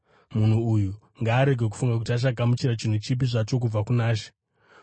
Munhu uyu ngaarege kufunga kuti achagamuchira chinhu chipi zvacho kubva kuna She;